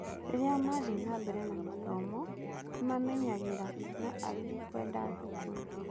Rĩrĩa mathiĩ nambere na mathomo nĩ mamenyagĩra na angĩ kwenda thũkũru.